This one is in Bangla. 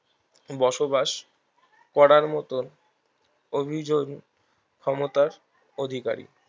বসবাস করার মতন অভিজোন ক্ষমতার অধিকারী